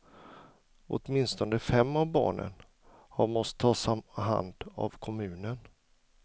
Åtminstone fem av barnen har måst tas om hand av kommunen.